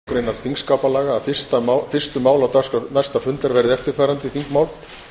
greinar þingskapalaga að fyrstu mál á dagskrá næsta fundar verði eftirfarandi þingmál